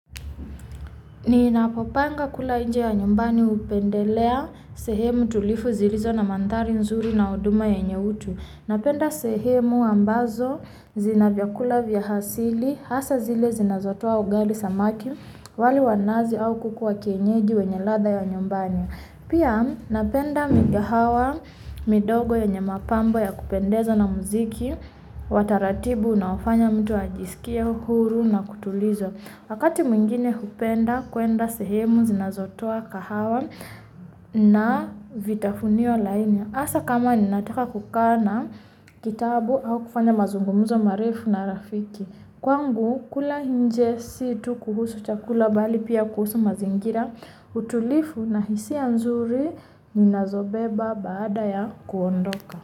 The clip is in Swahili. Ninapopanga kula nje ya nyumbani hupendelea sehemu tulivu zilizo na manthari nzuri na huduma yenye utu. Napenda sehemu ambazo zina vyakula vya asili, hasa zile zinazotoa ugali samaki, wali wa nazi au kuku wa kienyeji wenye ladha ya nyumbani. Pia napenda migahawa midogo yenye mapambo ya kupendeza na muziki, wa taratibu unaofanya mtu ajiskie huru na kutuliza. Wakati mwingine hupenda kwenda sehemu zinazotoa kahawa na vitafunio laini hasa kama ninataka kukaa na kitabu au kufanya mazungumzo marefu na rafiki, kwangu kula nje si tu kuhusu chakula bali pia kuhusu mazingira. Utulivu na hisia nzuri ninazobeba baada ya kuondoka.